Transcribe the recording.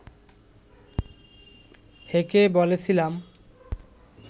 হেঁকে বলেছিলাম